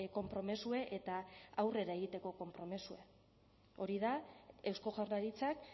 konpromezue eta aurrera egiteko konpromezue hori da eusko jaurlaritzak